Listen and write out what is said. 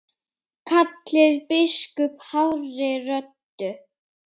kallaði biskup hárri röddu.